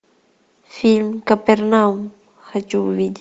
фильм капернаум хочу увидеть